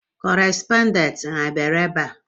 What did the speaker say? Kọrespọndent ha ọ bịara ebe a?